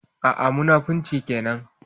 A'a, munafunci kenan.